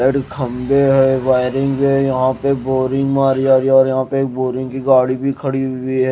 Light के खंभे है वायरिंग है यहां पे बोरिंग मारी जा रही है और यहां पे एक बोरिंग की गाड़ी भी खड़ी हुई है।